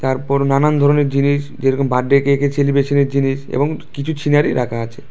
তারপর নানান ধরনের জিনিস যেরকম বার্থডে কেকের সেলিব্রেশানের জিনিস এবং কিছু ছিনারি রাখা আছে।